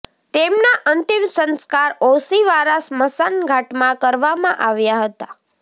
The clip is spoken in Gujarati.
તેમના અંતિમ સંસ્કાર ઓશિવારા સ્મશાન ઘાટમાં કરવામાં આવ્યા હતા